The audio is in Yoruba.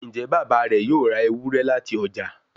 njé Bàbá rẹ yóò rá Ewúrẹ́ láti ọjà?